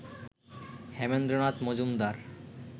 Hemendranath Majumdar